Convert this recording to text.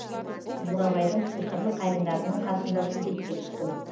бурабайдың сиқырлы қайыңдарының қасында суретке түстім